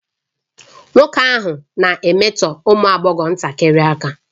Nwoke ahụ na-emetọ ụmụ agbọghọ ntakịrị aka